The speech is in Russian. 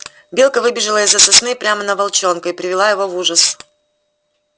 белка выбежала из за сосны прямо на волчонка и привела его в ужас